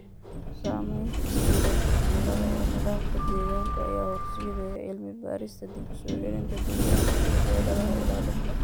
Saamaynta isbeddelka cimilada ee nidaamka deegaanka ayaa horseedaya cilmi-baarista dib-u-soo-celinta deegaanka iyo xeeladaha ilaalinta.